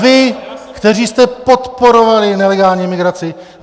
Vy, kteří jste podporovali nelegální migraci.